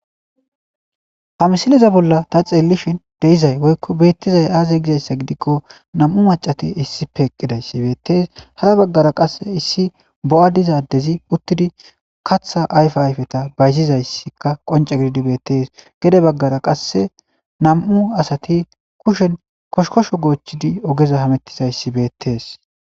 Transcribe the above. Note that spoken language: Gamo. Ha misiliza bolla ta xeellishin deizay woykko beettizay aaze gizayssa gidikko nam7u macati issi peeqqidayssi beettees hara baggara qasse issi bo7a dizadezi uttidi katha ayfe ayfeta bayzizayssika qonce gididibeettees gede baggara qasse nam7u asati kushen koshkosho goochchidi ogeza hamettizayssi beettees.